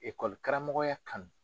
karamɔgɔya kanu.